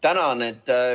Tänan!